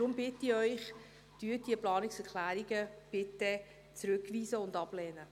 Deshalb bitte ich Sie, diese Planungserklärungen zurückzuweisen und abzulehnen.